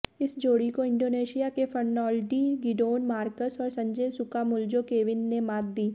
इस जोड़ी को इंडोनेशिया के फर्नाओल्डी गिडोन मार्कस और संजय सुकामुल्जो केविन ने मात दी